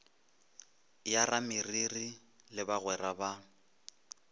ya rameriri le bagwera ba